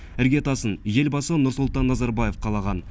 іргетасын елбасы нұрсұлтан назарбаев қалаған